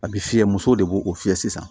A bɛ fiyɛ musow de b'o fiyɛ sisan